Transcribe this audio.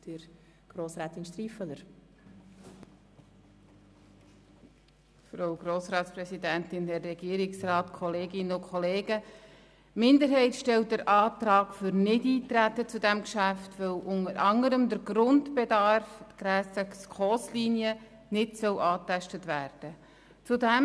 Die Minderheit stellt den Antrag auf Nichteintreten auf dieses Geschäft, weil unter anderem der Grundbedarf gemäss SKOS-Richtlinien nicht angetastet werden soll.